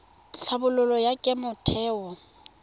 tlhabololo ya kemo ya theo